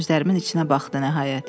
Gözlərimin içinə baxdı nəhayət.